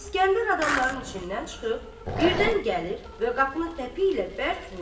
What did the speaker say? İsgəndər adamların içindən çıxıb birdən gəlir və qapını təpi ilə bərk vurur.